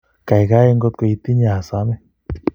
Kaikai ngotkotinye asome